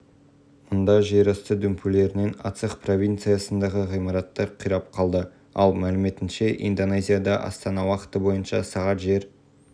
айта кетейік әділбек рыскелдіұлы жылдың тамызынан жылдың желтоқсанына дейін қазақстан футбол федерациясын басқарды ол сондай-ақ қазақстан ұлттық олимпиялық комитетінің жазғы спорт